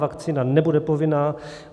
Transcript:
Vakcína nebude povinná.